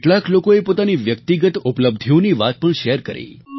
કેટલાક લોકોએ પોતાની વ્યક્તિગત ઉપલબ્ધિઓની વાત પણ શેર કરી